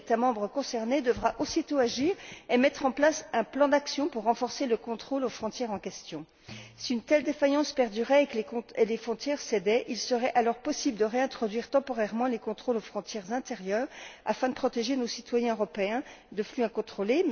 L'État membre concerné devra aussitôt agir et mettre en place un plan d'action pour renforcer le contrôle aux frontières en question. Si une telle défaillance perdurait et que les frontières cédaient, il serait alors possible de réintroduire temporairement les contrôles aux frontières intérieures, afin de protéger nos citoyens européens de flux incontrôlés.